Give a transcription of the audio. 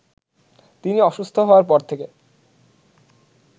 তিনি অসুস্থ হওয়ার পর থেকে